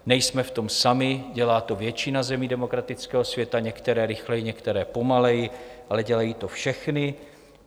Nejsme v tom sami, dělá to většina zemí demokratického světa, některé rychleji, některé pomaleji, ale dělají to všechny.